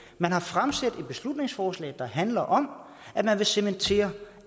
man har fremsat et beslutningsforslag der handler om at man vil cementere